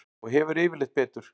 Og hefur yfirleitt betur.